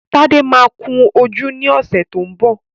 Tádé máa kun ojú ní ọ̀sẹ̀ tó ń bọ̀